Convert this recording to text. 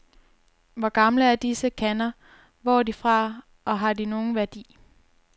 Hvor gamle er disse kander, hvor er de fra,, og har de nogen værdi?